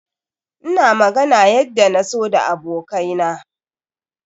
Ina magana yadda na so da abokai na.